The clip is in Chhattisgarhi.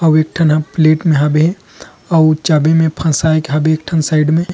अउ एक ठन प्लेट में हाबे हे आउ चाभी में फसाय के हाबे एक ठन साइड में --